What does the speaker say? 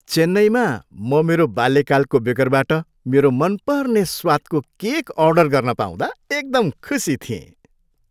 चेन्नईमा म मेरो बाल्यकालको बेकरबाट मेरो मनपर्ने स्वादको केक अर्डर गर्न पाउँदा एकदम खुसी थिएँ।